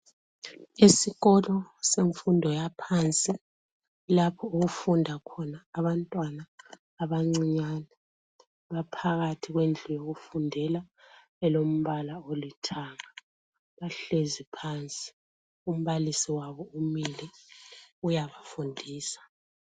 Esikolo semfundo yaphansi. Lapho okufunda khona abantwana abancinyane, baphakathi kwendlu yabo yokufundela elombala olithanga, bahlezi phansi, umbalisi wabo umile uyabafundisa.